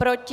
Proti?